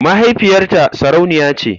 Mahaifiyarta sarauniya ce.